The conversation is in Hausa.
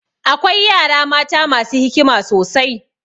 Akwai yara mata masu hikima sosai.